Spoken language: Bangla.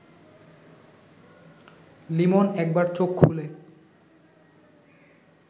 লিমন একবার চোখ খুলে